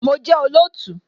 Mo jẹ́ olóòtú